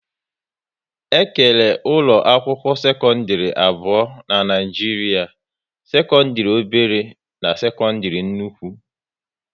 E kere ụlọ akwụkwọ sekọndrị abụọ n'Naijiria: sekọndrị obere na sekọndrị nnukwu